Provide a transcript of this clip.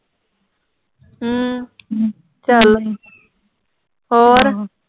ਹਮ ਚਲ ਹੋਰ